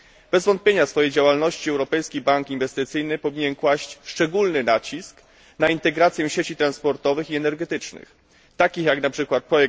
Bez wątpienia w swojej działalności Europejski Bank Inwestycyjny powinien kłaść szczególny nacisk na integrację sieci transportowych i energetycznych, jak np.